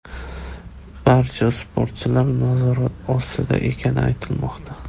Barcha sportchilar nazorat ostida ekani aytilmoqda.